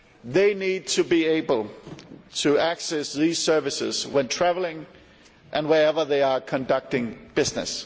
They need to be able to access these services when travelling and wherever they are conducting business.